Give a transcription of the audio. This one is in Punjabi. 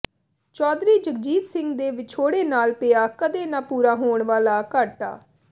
ਚੌਧਰੀ ਜਗਜੀਤ ਸਿੰਘ ਦੇ ਵਿਛੋੜੇ ਨਾਲ ਪਿਆ ਕਦੇ ਨਾ ਪੂਰਾ ਹੋਣ ਵਾਲਾ ਘਾਟਾ